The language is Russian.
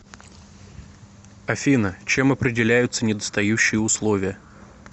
афина чем определяются недостающие условия